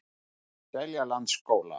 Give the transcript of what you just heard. Seljalandsskóla